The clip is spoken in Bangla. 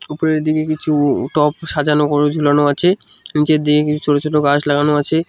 উপরের দিকে কিছু টপ সাজানো ও ঝুলানো আছে নীচের দিকে কিছু ছোটো ছোটো গাছ লাগানো আছে।